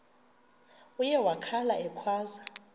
uye wakhala ekhwaza